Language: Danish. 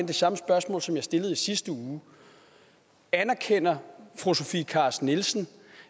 det samme spørgsmål som jeg stillede i sidste uge anerkender fru sofie carsten nielsen